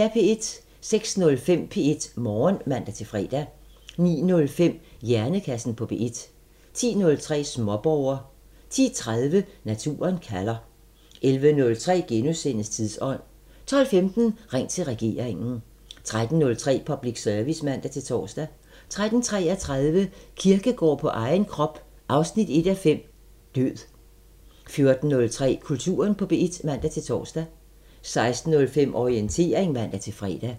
06:05: P1 Morgen (man-fre) 09:05: Hjernekassen på P1 10:03: Småborger 10:30: Naturen kalder 11:03: Tidsånd * 12:15: Ring til regeringen 13:03: Public Service (man-tor) 13:33: Kierkegaard på egen krop 1:5 – Død 14:03: Kulturen på P1 (man-tor) 16:05: Orientering (man-fre)